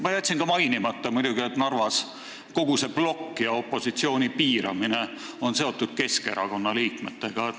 Ma jätsin enne muidugi mainimata, et Narvas on kogu see blokk ja opositsiooni piiramine seotud Keskerakonna liikmetega.